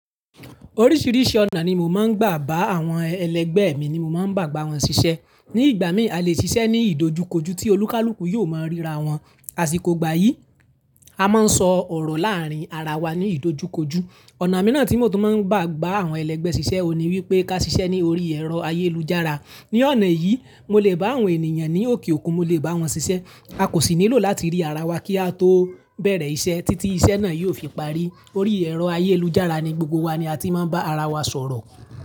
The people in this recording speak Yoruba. Oríṣìíríṣìí ọ̀nà ni mo máa ń gbà bá àwọn ẹlẹgbẹ́ mi ni mo máa ń bà gbà wọ́n ṣiṣẹ́. Ní ìgbà míì, a lè ṣiṣẹ́ ní ìdojukoju tí olúkalúkù yóò máa ríra wọn, àsìkò ìgbà yìí, a máa ń sọ ọ̀rọ̀ láàárín ara wa ní ìdojukoju. Ọ̀nà mìíràn tí mo tún máa ń gbà gbà àwọn ẹlẹgbẹ́ ṣiṣẹ́ òní wípé ká ṣiṣẹ́ ní orí ẹ̀rọ ayélujára. Ni ọ̀nà yìí, mo lè bá àwọn ènìyàn ní òkè òkun, mo lè bá wọn ṣiṣẹ́. A kò sì nílò láti rí ara wa kí a tó bẹ̀rẹ̀ iṣẹ́ títí iṣẹ́ náà yóò fi parí. Orí ẹ̀rọ ayélujára ni gbogbo wa ni a ti máa ń bá ara wa sọ̀rọ̀.